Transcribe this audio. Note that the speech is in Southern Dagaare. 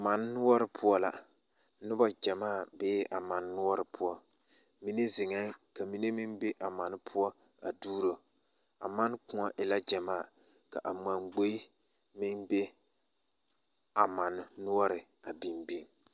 Mane noɔre poɔ la noba ɡyamaa bee a mane noɔre poɔ mine zeŋɛɛ ka mine meŋ be a mane poɔ a duɡiri a mane kõɔ e la ɡyamaa a mane ɡboe meŋ bee a mannoɔre a biŋbiŋ.